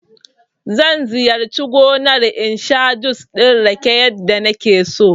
Zan ziyarci gomar in sha jus ɗin rake yadda nake so